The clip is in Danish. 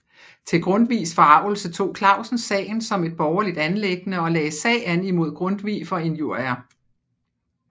Til Grundtvigs forargelse tog Clausen sagen som et borgerligt anliggende og lagde sag an imod Grundtvig for injurier